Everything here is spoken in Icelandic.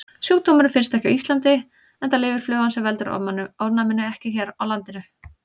Sjúkdómurinn finnst ekki á Íslandi enda lifir flugan sem veldur ofnæminu ekki hér á landi.